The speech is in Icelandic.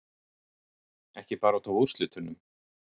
Ekki bara út af úrslitunum